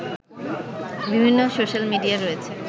বিভিন্ন সোশাল মিডিয়ায় রয়েছে